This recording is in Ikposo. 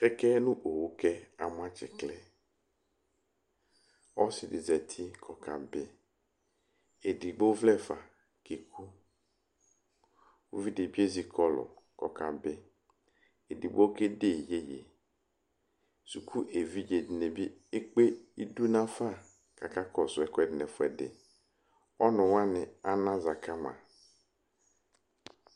ɛtʋfʋe ɔsidini kebuele ɔsiɛ adu tsitsiwɛ evidzedi adu awuwɛ kayɔ aɣla yɔma nu ɛglati evidzedi adu awufue kɔyanu ɔsiɛtɔ ɛkʋ dulɔ dini du ugliɛtʋ